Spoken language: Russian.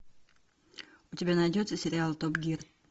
у тебя найдется сериал топ гир